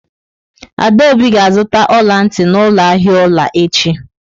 Adaobi ga-azụta ọla ntị n'ụlọ ahịa ọla echi.